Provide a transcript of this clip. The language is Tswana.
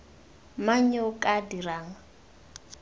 mang yo o ka dirang